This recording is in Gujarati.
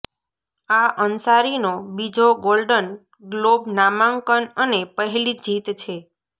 આ અન્સારીનો બીજો ગોલ્ડન ગ્લોબ નામાંકન અને પહેલી જીત છે